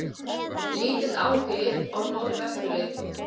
Lítill áhugi á Norðvesturleið